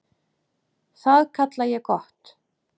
Það kalla ég gott.